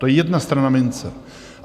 To je jedna strana mince.